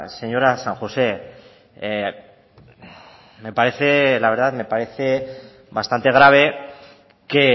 señora san josé me parece la verdad me parece bastante grave que